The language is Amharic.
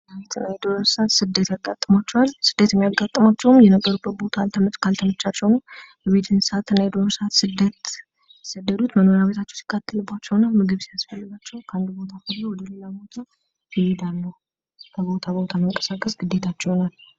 የዱር እንስሳት ስደት ያጋጥማቸዋል ስደት የሚያጋጥማቸው የሚኖርበት መኖሪያ ከአልተመቻቸው ነው የቤትና የዱር እንስሳ የሚሰደዱት የመኖሪያ ቤታቸው ሲቃጠልባቸውና ምግብ ሲያስፈልጋቸው ከአንድ ቦታ ወደ ሌላ ቦታ ይሄዳሉ ከቦታ ቦታ መንቀሳቀስ ግዴታቸው ይሆናል።